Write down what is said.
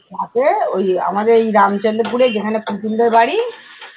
রাতে ওই আমাদের এই রামচন্দ্রপুর এ যেখানে পুতুল দের বাড়ি